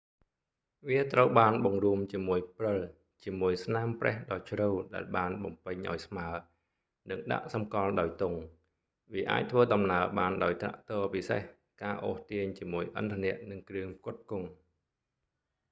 វាត្រូវបានបង្រួមជាមួយព្រិលជាមួយស្នាមប្រេះដ៏ជ្រៅដែលបានបំពេញអោយស្មើនិងដាក់សម្គាល់ដោយទង់ វាអាចធ្វើដំណើរបានដោយត្រាក់ទ័រពិសេស ការអូសទាញជាមួយឥន្ធនៈនិងគ្រឿងផ្គត់ផ្គង់